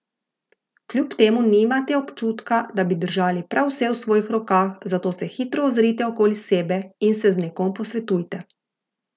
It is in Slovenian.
Kljub temu nimate občutka, da bi držali prav vse v svojih rokah, zato se hitro ozrite okoli sebe in se z nekom posvetujte.